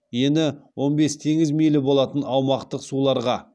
ені он бес теңіз мильі болатын аумақтық суларға